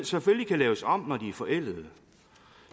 selvfølgelig kan laves om når de er forældede